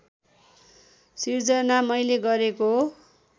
सिर्जना मैले गरेको